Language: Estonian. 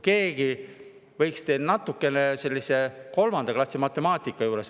Keegi võiks teil natukene arvutada, see on 3. klassi matemaatika.